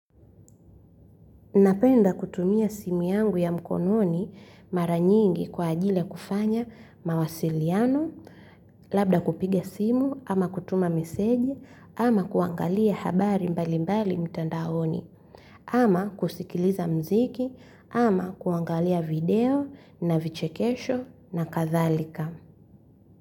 Napenda kutumia simu yangu ya mkononi mara nyingi kwa ajili ya kufanya mawasiliano. Labda kupiga simu ama kutuma message ama kuangalia habari mbalimbali mtandaoni ama kusikiliza mziki ama kuangalia video na vichekesho na kadhalika.